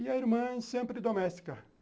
E a irmã sempre doméstica.